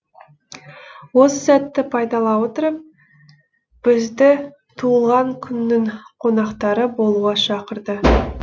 осы сәтті пайдала отырып бізді туылған күннің қонақтары болуға шақырды